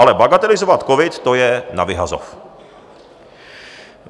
Ale bagatelizovat covid, to je na vyhazov.